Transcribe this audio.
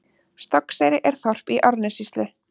Stokkseyri er þorp í Árnessýslu.